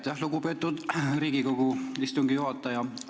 Aitäh, lugupeetud Riigikogu istungi juhataja!